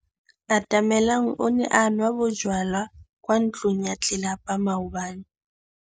Atamelang o ne a nwa bojwala kwa ntlong ya tlelapa maobane.